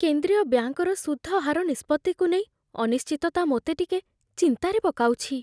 କେନ୍ଦ୍ରୀୟ ବ୍ୟାଙ୍କର ସୁଧ ହାର ନିଷ୍ପତ୍ତିକୁ ନେଇ ଅନିଶ୍ଚିତତା ମୋତେ ଟିକେ ଚିନ୍ତାରେ ପକାଉଛି।